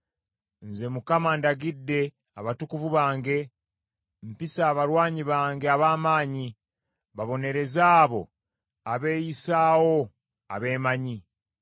Nze Mukama ndagidde abatukuvu bange mpise abalwanyi bange ab’amaanyi, babonereze abo abeeyisaawo abeemanyi.